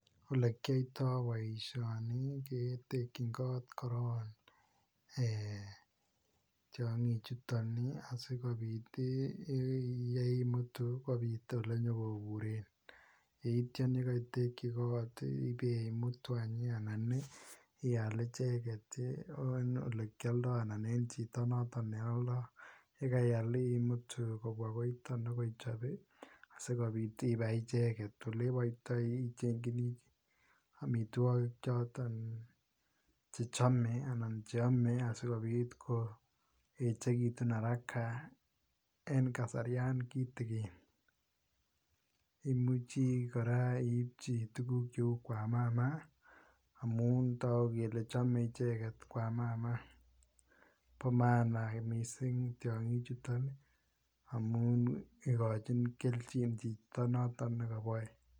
Olekyoito boisioni ketekyin kot koron ee tiongichuto asigopit yeimutu kopit olenyopuren. Yeityan ye kaitekyi kot ii ibemutu any anan ii ial icheget en olekialdo ana en chito noto ne aldo. Ye kaiyal imutu kopwa koiton nyogochop sigopit ibai icheget. Oleboitoi ichengchini amitwogik choton che chomei anan che amei asigopit koyechegitun araka en kasarian kitigin. Imuchi kora iipchi tuguk cheu kwamama amun tagu kole chome icheget kwamama. Bo maana mising tiongichuton amun igochin keljin chito noto ne kaboe.